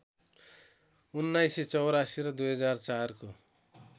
१९८४ र २००४ को